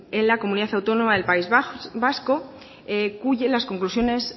en la comunidad autónoma del país vasco cuyas las conclusiones